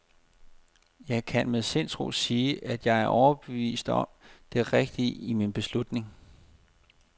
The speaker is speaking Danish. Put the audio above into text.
Jeg kan med sindsro sige, at jeg er overbevist om det rigtige i min beslutning.